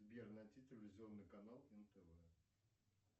сбер найти телевизионный канал нтв